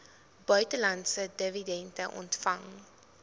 buitelandse dividende ontvang